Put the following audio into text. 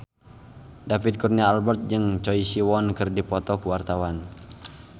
David Kurnia Albert jeung Choi Siwon keur dipoto ku wartawan